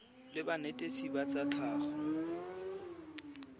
la banetetshi ba tsa tlhago